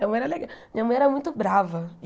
Minha mãe le minha mãe era muito brava.